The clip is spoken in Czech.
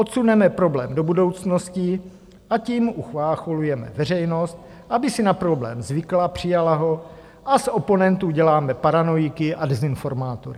Odsuneme problém do budoucnosti a tím uchlácholujeme veřejnost, aby si na problém zvykla, přijala ho, a z oponentů děláme paranoiky a dezinformátory.